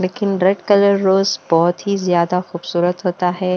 लेकिन red colour rose बहोत ही ज्यादा खूबसूरत होता है।